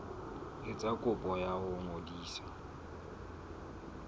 etsa kopo ya ho ngodisa